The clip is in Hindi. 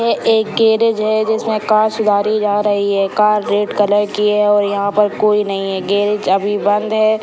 ये एक गैरेज है जिसमें कांच गाड़ी जा रही है कार रेड कलर की है और यहाँ पे कोई नहीं है गैरेज अभी बंद है।